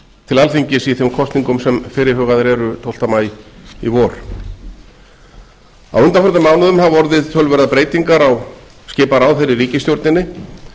til alþingis í þeim kosningum sem fyrirhugaðar eru tólfta maí í vor á undanförnum mánuðum hafa töluverðar breytingar orðið á skipan ráðherra í ríkisstjórninni